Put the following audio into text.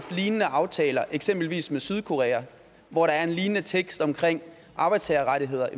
lignende aftaler eksempelvis med sydkorea hvor der er en lignende tekst om arbejdstagerrettigheder